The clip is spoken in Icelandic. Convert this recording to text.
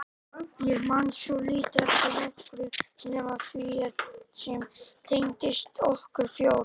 Ég man svo lítið eftir nokkru nema því sem tengdist okkur fjórum.